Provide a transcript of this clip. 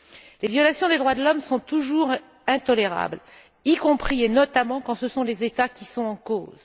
Les violations des droits de l'homme sont toujours intolérables, y compris et notamment quand ce sont les États qui sont en cause.